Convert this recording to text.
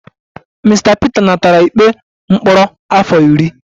Mr Peter natara ikpe mkpọrọ afọ iri